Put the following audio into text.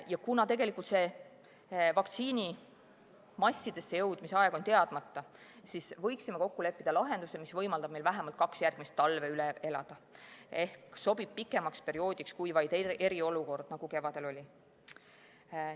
Ja kuna vaktsiini massidesse jõudmise aeg on teadmata, siis võiksime kokku leppida lahenduse, mis võimaldab meil vähemalt kaks järgmist talve üle elada ehk sobib pikemaks perioodiks kui vaid eriolukord, nagu kevadel oli.